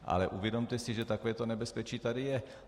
Ale uvědomte si, že takové nebezpečí tady je.